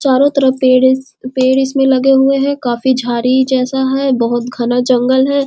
चारो तरफ इस पेड़ इसमें लगे हुए है काफी झाड़ी जैसा है बहुत घना जंगल है।